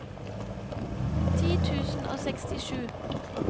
ti tusen og sekstisju